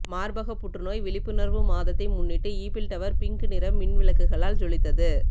மார்பக புற்று நோய் விழிப்புணர்வு மாதத்தை முன்னிட்டு ஈபிள் டவர் பிங்க் நிறத் மின் விளக்குகளால் ஜொலித்தது